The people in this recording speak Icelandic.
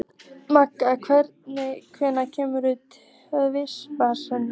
Magda, hvenær kemur tvisturinn?